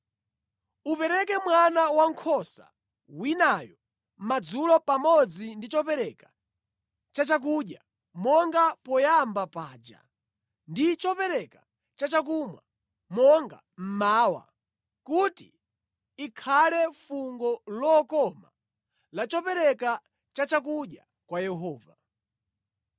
Upereke mwana wankhosa winayo madzulo pamodzi ndi chopereka chachakudya monga poyamba paja ndi chopereka chachakumwa monga mmawa kuti ikhale fungo lokoma la chopereka chachakudya kwa Yehova.